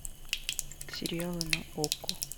сериалы на окко